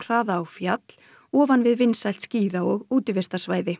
hraða á fjall ofan við vinsælt skíða og útivistarsvæði